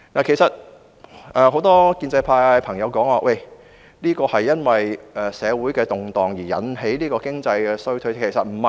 很多建制派朋友指這是社會動盪引起的經濟衰退，其實並非如此。